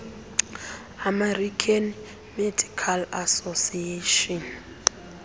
american medical association